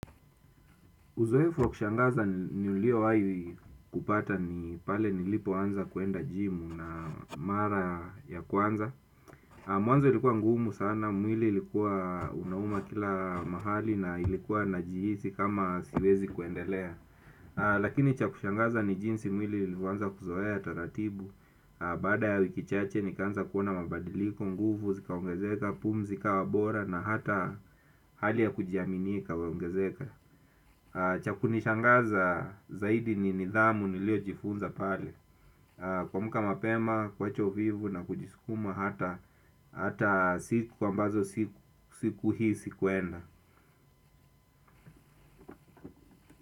Uzoefu wa kushangaza niulio hayi kupata ni pale nilipo anza kuenda jimu na mara ya kwanza. Mwanzo ilikuwa ngumu sana, mwili ilikuwa unauma kila mahali na ilikuwa najihizi kama siwezi kuendelea. Lakini cha kushangaza ni jinsi mwili ilifoanza kuzoea, taratibu. Bada ya wiki chache nikanza kuona mabadiliko, nguvu zikaongezeka, pumzi ikawa bora na hata hali ya kujiaminii ikawaongezeka. Cha kunishangaza zaidi ni nidhamu nilio jifunza pale kwamuka mapema, kwacha uvivu na kujiskuma hata siku ambazo sikuhisi kuenda.